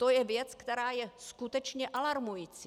To je věc, která je skutečně alarmující.